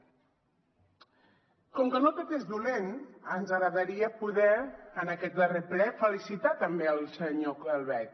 com que no tot és dolent ens agradaria poder en aquest darrer ple felicitar també el senyor calvet